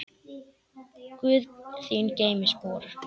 Guð þín geymi spor.